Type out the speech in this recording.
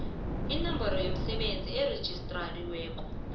inomboro yomsebenzi erejistariweko